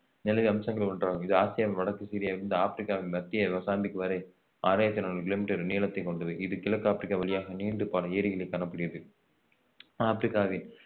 நிலவியல் அம்சங்கள் ஒன்றாகும் இது ஆசியாவின் வடக்கு சிரியாவில் இருந்து ஆப்ரிக்காவின் மத்திய மொசாம்பிக் வரை ஆறாயிரத்தி நானூறு கிலோமீட்டர் நீளத்தை கொண்டது இது கிழக்கு ஆப்பிரிக்கா வழியாக நீண்டு பல ஏரிகளை காணக்கூடியது ஆப்ரிக்காவின்